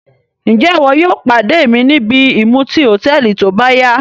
Njẹ iwo yóò pade mi nìbí ìmuti hotẹẹli tóbáya?